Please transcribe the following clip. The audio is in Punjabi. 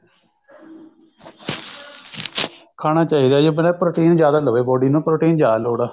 ਖਾਣਾ ਚਾਹਿਦਾ ਜੀ ਬੰਦਾ protein ਜਿਆਦਾ ਲਵੇ protein ਜਿਆਦਾ ਲੋੜ ਐ body ਨੂੰ